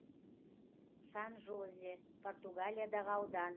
сан жозе португалиядағы аудан